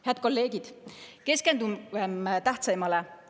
Head kolleegid, keskendugem tähtsaimale!